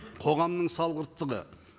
қоғамның салғырты да